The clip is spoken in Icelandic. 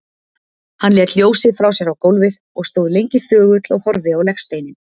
Hann lét ljósið frá sér á gólfið og stóð lengi þögull og horfði á legsteininn.